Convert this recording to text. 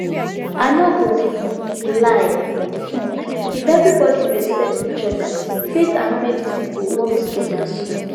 i no go um lie um if everybody respect each other faith and medicine go work together smooth